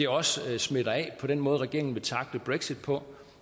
os også smitter af på den måde regeringen vil tackle brexit på